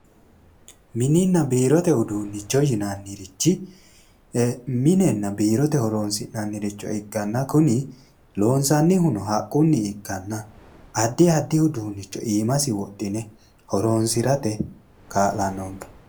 Mininna biirote uduunnichi yineemmorichi minenna biirote horonsi'nanniricho ikkanna kuni loonsannihuno haqqunni ikkanna addi addiricho iimasi wodhine horonsirate kaa'lannonke.